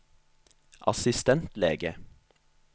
assistentlege